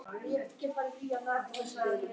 Tyrkland vann Portúgal með þremur mörkum gegn einu.